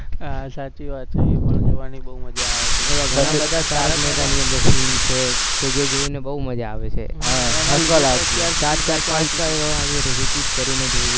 હા સાચી વાત છે જોવાની બોવ મજા આવે scene છે કે જે જોઈને બોવ મજા આવે છે ચાર-ચાર પાંચ-પાંચ વાર repeat કરીને જોઈ